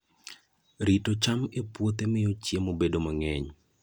Rito cham e puothe miyo chiemo bedo mang'eny.